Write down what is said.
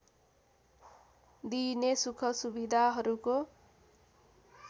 दिइने सुख सुविधाहरूको